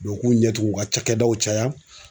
Bɔn u k'u ɲɛ tugu u ka cakɛdaw caya